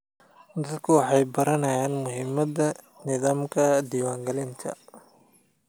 Dadku waxay baranayaan muhiimadda nidaamka diiwaangelinta.